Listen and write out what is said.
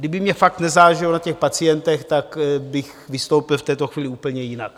Kdyby mně fakt nezáleželo na těch pacientech, tak bych vystoupil v této chvíli úplně jinak.